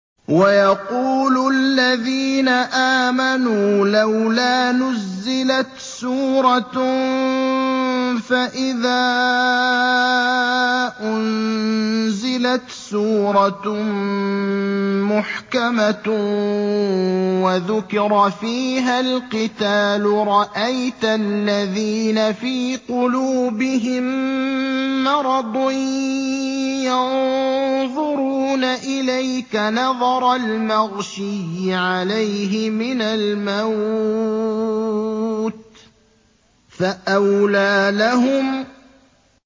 وَيَقُولُ الَّذِينَ آمَنُوا لَوْلَا نُزِّلَتْ سُورَةٌ ۖ فَإِذَا أُنزِلَتْ سُورَةٌ مُّحْكَمَةٌ وَذُكِرَ فِيهَا الْقِتَالُ ۙ رَأَيْتَ الَّذِينَ فِي قُلُوبِهِم مَّرَضٌ يَنظُرُونَ إِلَيْكَ نَظَرَ الْمَغْشِيِّ عَلَيْهِ مِنَ الْمَوْتِ ۖ فَأَوْلَىٰ لَهُمْ